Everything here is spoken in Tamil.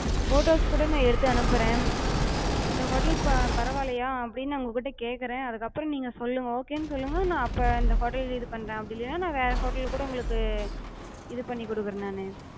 photos கூட நா எடுத்து அனுப்புறே. இந்த hotel பரவாலயா அப்டினு உங்ககிட்ட கேக்குறே, அதுக்கு அப்றோ நீங்க சொல்லுங்க, ok சொல்லுங்க, நா அப்ப இந்த hotel இது பண்றே, அப்டி இல்லனா நா வேற hotel லக்கூட நா உங்களுக்கு இது பண்ணி குடுக்குறே நானு.